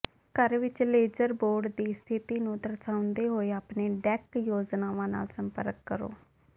ਘਰ ਵਿੱਚ ledger board ਦੀ ਸਥਿਤੀ ਨੂੰ ਦਰਸਾਉਂਦੇ ਹੋਏ ਆਪਣੀਆਂ ਡੈਕ ਯੋਜਨਾਵਾਂ ਨਾਲ ਸੰਪਰਕ ਕਰੋ